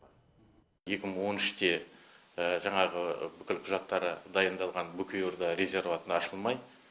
екі мың он үште жаңағы бүкіл құжаттары дайындалған бөкей орда резерваты ашылмай